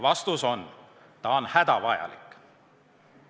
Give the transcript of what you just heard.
Vastus on, et see on hädavajalik.